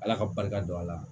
Ala ka barika don a la